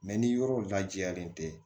ni yɔrɔ lajɛlen tɛ